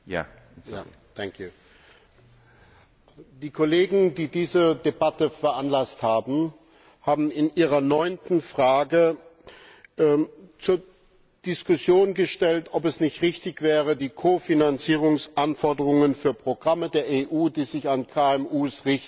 Herr Präsident! Die Kollegen, die diese Debatte veranlasst haben, haben in ihrer neunten Frage zur Diskussion gestellt, ob es nicht richtig wäre, die Kofinanzierungsanforderungen für Programme der EU, die sich an KMU richten,